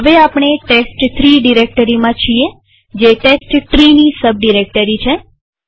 તો હવે આપણે ટેસ્ટ3 ડિરેક્ટરીમાં છીએ જે testtreeની સબ ડિરેક્ટરી છે